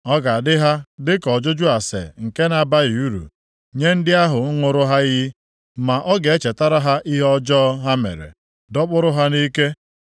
Ọ ga-adị ha dịka ọjụjụ ase nke na-abaghị uru, nye ndị ahụ ṅụrụ ha iyi, ma ọ ga-echetara ha ihe ọjọọ + 21:23 Ya bụ, ajọ omume ha ha mere, dọkpụrụ ha nʼike.